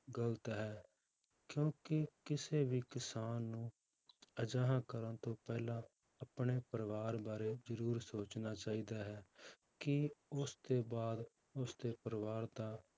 ਗ਼ਲਤ ਹੈ ਕਿਉਂਕਿ ਕਿਸੇ ਵੀ ਕਿਸਾਨ ਨੂੰ ਅਜਿਹਾ ਕਰਨ ਤੋਂ ਪਹਿਲਾਂ ਆਪਣੇ ਪਰਿਵਾਰ ਬਾਰੇ ਜ਼ਰੂਰ ਸੋਚਣਾ ਚਾਹੀਦਾ ਹੈ ਕਿ ਉਸਦੇ ਬਾਅਦ ਉਸਦੇ ਪਰਿਵਾਰ ਦਾ